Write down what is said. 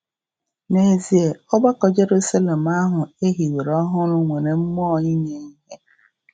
N’ezie, ọgbakọ Jeruselem ahụ e hiwere ọhụrụ nwere mmụọ inye ihe!